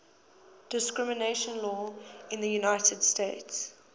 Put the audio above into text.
discrimination law in the united states